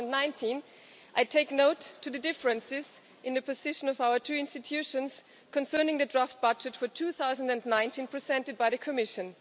2019. I take note of the differences in the position of our two institutions concerning the draft budget for 2019 presented by the Commission.